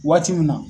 Waati min na